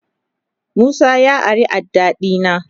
Musa ya ari adda dina.